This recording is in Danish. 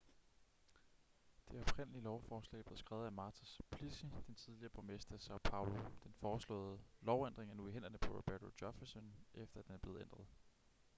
det oprindelige lovforslag blev skrevet af marta suplicy den tidligere borgmester i são paulo. den foreslåede lovændring er nu i hænderne på roberto jefferson efter at den er blevet ændret